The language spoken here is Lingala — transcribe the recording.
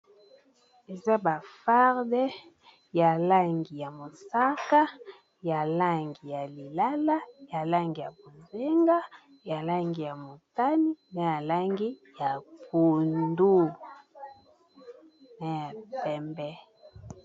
Eza ba farde ya langi ya mosaka ya langi ya lilala ya langi ya bozenga ya langi ya motani na ya langi ya pondu na ya pembe.